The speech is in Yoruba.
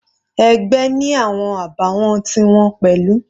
Ẹgbẹ́ ni awọn àbàwọ́n ti wọn pẹ̀lú.